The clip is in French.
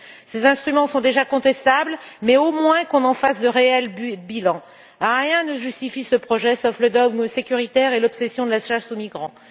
Ces instruments sont déjà contestables, mais au moins qu'on en fasse de réels bilans. Rien ne justifie ce projet, sauf le dogme sécuritaire et l'obsession de la chasse aux migrants.